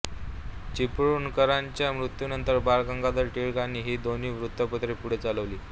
चिपळूणकरांच्या मृत्यूनंतर बाळ गंगाधर टिळकांनी ही दोन्ही वृत्तपत्रे पुढे चालवली